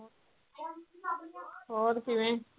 ਹੋਰ ਕਿਵੇਂ